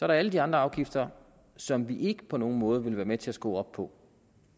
der alle de andre afgifter som vi ikke på nogen måde vil være med til at skrue op på